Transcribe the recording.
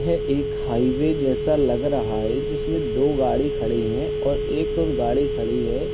यह एक हाईवे जैसा लग रहा है जिसमें दो गाड़ी खड़े हैं और एक और गाड़ी खड़ी हैं।